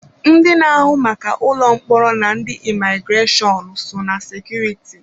Ndị na-ahụ maka ụlọ mkpọrọ na ndị imigreshọnụ, so ná sekuriti.